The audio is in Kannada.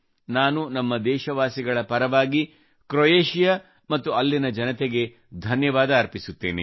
ನಾನು ನಮ್ಮ ದೇಶವಾಸಿಗಳ ಪರವಾಗಿ ಕ್ರೋಯೇಷಿಯಾ ಮತ್ತು ಅಲ್ಲಿನ ಜನತೆಗೆ ಧನ್ಯವಾದ ಅರ್ಪಿಸುತ್ತೇನೆ